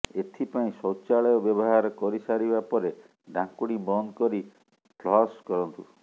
ଏଥିପାଇଁ ଶୌଚାଳୟ ବ୍ୟବହାର କରିସାରିବା ପରେ ଢ଼ାଙ୍କୁଣୀ ବନ୍ଦ କରି ଫ୍ଲସ୍ କରନ୍ତୁ